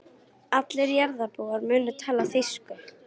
Allir jarðarbúar munu tala þýsku.